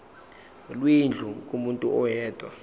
lwendlu kumuntu oyedwa